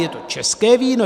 Je to české víno?